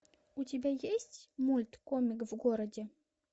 у тебя есть мульт комик в городе